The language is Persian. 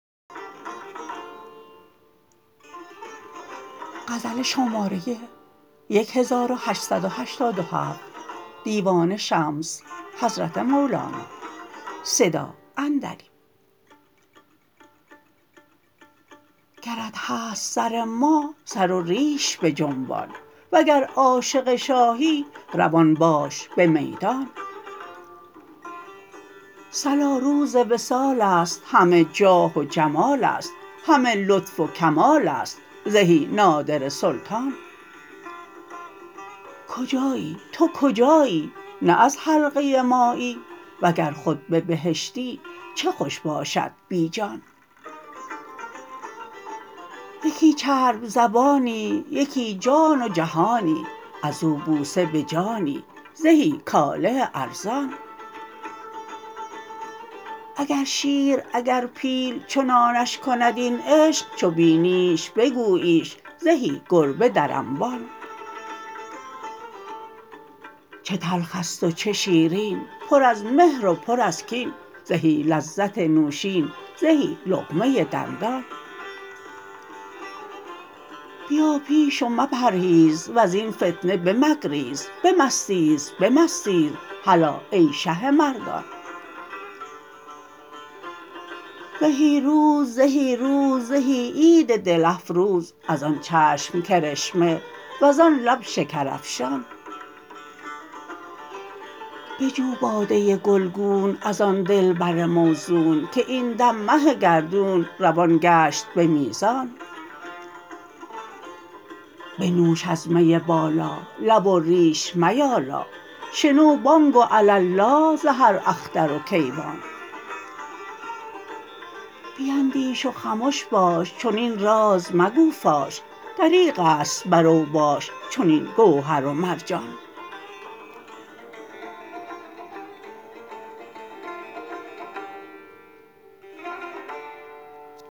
گرت هست سر ما سر و ریش بجنبان وگر عاشق شاهی روان باش به میدان صلا روز وصال است همه جاه و جمال است همه لطف و کمال است زهی نادره سلطان کجایی تو کجایی نه از حلقه مایی وگر خود به بهشتی چه خوش باشد بی جان یکی چرب زبانی یکی جان و جهانی از او بوسه به جانی زهی کاله ارزان اگر شیر اگر پیل چنانش کند این عشق چو بینیش بگوییش زهی گربه در انبان چه تلخ است و چه شیرین پر از مهر و پر از کین زهی لذت نوشین زهی لقمه دندان بیا پیش و مپرهیز و زین فتنه بمگریز بمستیز بمستیز هلا ای شه مردان زهی روز زهی روز زهی عید دل افروز از آن چشم کرشمه وزان لب شکرافشان بجو باده گلگون از آن دلبر موزون که این دم مه گردون روان گشت به میزان بنوش از می بالا لب و ریش میالا شنو بانگ و علالا ز هر اختر و کیوان بیندیش و خمش باش چنین راز مگو فاش دریغ است بر اوباش چنین گوهر و مرجان